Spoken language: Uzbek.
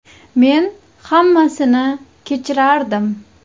Men hammasini kechirardim.